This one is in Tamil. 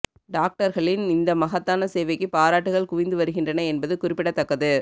டாக்டர்களின் இந்த மகத்தான சேவைக்கு பாராட்டுகள் குவிந்து வருகின்றன என்பது குறிப்பிடத்தக்கது